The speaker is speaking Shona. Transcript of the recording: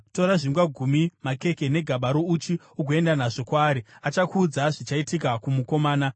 Tora zvingwa gumi, makeke negaba rouchi ugoenda nazvo kwaari. Achakuudza zvichaitika kumukomana.”